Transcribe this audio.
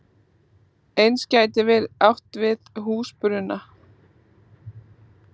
Eins gæti verið átt við húsbruna.